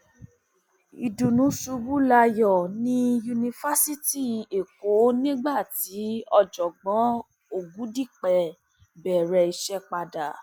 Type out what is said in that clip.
ìdùnnú ṣubú layọ ní yunifásitì ẹkọ nígbà tí ọjọgbọn ọgùdípẹ bẹrẹ iṣẹ padà